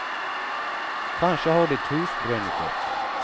Kanske har ditt hus brunnit upp.